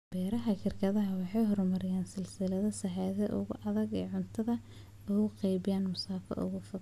Beeraha shirkadaha waxay horumariyaan silsilado sahayda oo adag si ay cuntada ugu qaybiyaan masaafo aad u fog.